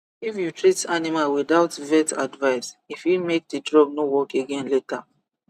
if you treat animal without vet advice e fit make the drug no work again later